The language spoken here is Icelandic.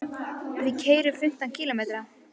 Við keyrum fimmtán kílómetra.